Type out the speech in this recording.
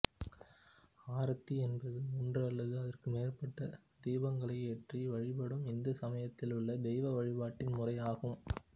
ஆரத்தி என்பது ஒன்று அல்லது அதற்கு மேற்பட்ட தீபங்களை ஏற்றி வழிபடும் இந்து சமயத்திலுள்ள தெய்வ வழிபாட்டின் முறையாகும்